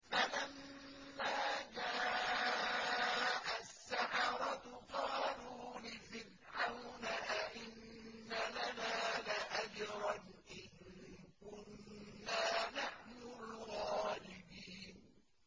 فَلَمَّا جَاءَ السَّحَرَةُ قَالُوا لِفِرْعَوْنَ أَئِنَّ لَنَا لَأَجْرًا إِن كُنَّا نَحْنُ الْغَالِبِينَ